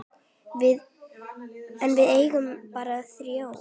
En við eigum bara þrjú.